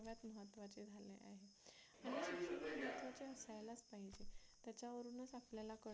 त्याच्यावरूनच आपल्याला कळते